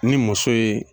Ni muso ye